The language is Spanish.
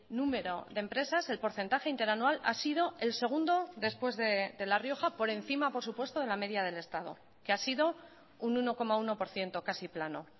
número de empresas el porcentaje interanual ha sido el segundo después de la rioja por encima por supuesto de la media del estado que ha sido un uno coma uno por ciento casi plano